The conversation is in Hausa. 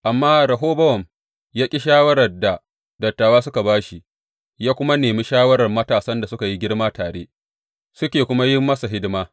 Amma Rehobowam ya ƙi shawarar da dattawa suka ba shi ya kuma nemi shawarar matasan da suka yi girma tare, suke kuma yin masa hidima.